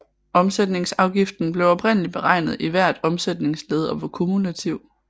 Omsætningsafgiften blev oprindelig beregnet i hvert omsætningsled og var kumulativ